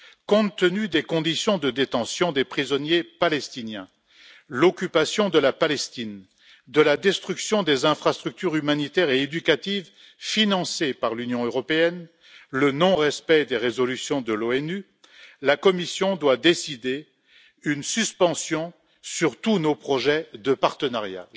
Compte tenu des conditions de détention des prisonniers palestiniens, de l'occupation de la Palestine, de la destruction des infrastructures humanitaires et éducatives financées par l'Union européenne, du non respect des résolutions de l'ONU, la Commission doit décider une suspension de tous nos projets de partenariat.